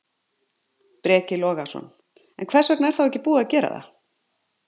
Breki Logason: En hvers vegna er þá ekki búið að gera það?